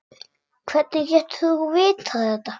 Hvernig getur þú vitað þetta?